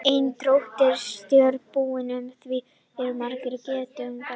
Ein drottning stjórnar búi og í því eru margir geitungar.